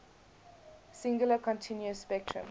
singular continuous spectrum